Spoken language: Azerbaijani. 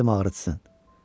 İstəmədim ağrıtsın.